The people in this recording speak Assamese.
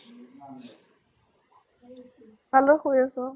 কাৰ লগত শুই আছ ?